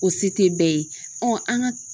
O se tɛ bɛɛ ye, an ka